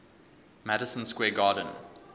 madison square garden